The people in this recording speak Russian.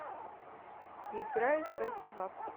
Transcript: играй фэтти вап